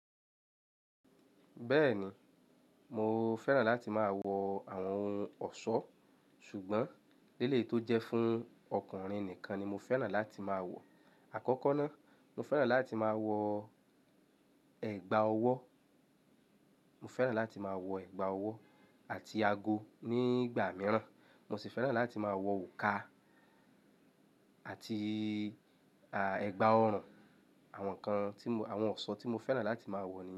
Bẹ́ẹ̀ni, mo fẹ́ràn láti máa wọ àwọn ohun ọ̀ṣọ́. Ṣùgbọ́n leleyii tó jẹ́ fún ọkùnrin nìkan ni mo fẹ́ràn láti máa wọ̀. Àkọ́kọ́ ná, mo fẹ́ràn láti máa wọ ẹ̀gbà ọwọ́, mo fẹ́ràn láti máa wọ ẹ̀gbà ọwọ́ àti ago ní ìgbà mìíràn. Mo sì fẹ́ràn láti máa wọ òrùka àti, à, ẹ̀gbà ọrùn. Àwọn nǹkan tí mo-- àwọn ọ̀ṣọ́ tí mo fẹ́ràn láti máa wọ̀ ni.